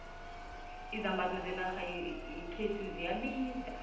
izambatho zenarha yekhethu ziyabiza